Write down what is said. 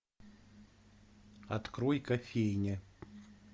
открой кофейня